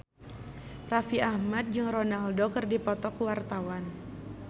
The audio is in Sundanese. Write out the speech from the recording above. Raffi Ahmad jeung Ronaldo keur dipoto ku wartawan